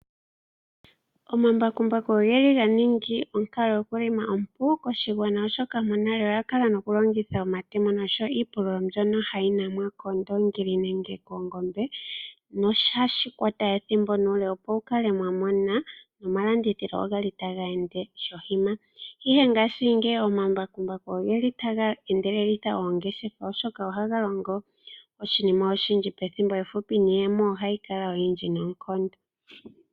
Omambakumbaku ogeli ganinga onkalo yokulonga ompu koshigwana oshoka monale oya kala nokulongitha omatemo oshowo iipululo mbyono hayi nanwa koondongi nenge koongombe noshali hashi kwata ethimbo nuule opo mukale mwa mana nomalandithilo ogali taga ende shohima. Ihe ngashingeyi omambakumbaku ogeli taga endelelitha oongeshefa oshoka ohaga longo oshinima oshindji pethimbo ehupi niiyemo ohayi kala oyindji nonkondo.